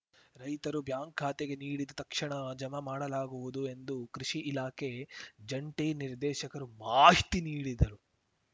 ರೈತರು ಬ್ಯಾಂಕ್‌ ಖಾತೆಗೆ ನೀಡಿದ ತಕ್ಷಣ ಜಮಾ ಮಾಡಲಾಗುವುದು ಎಂದು ಕೃಷಿ ಇಲಾಖೆ ಜಂಟಿ ನಿರ್ದೇಶಕರು ಮಾಹಿತಿ ನೀಡಿದರು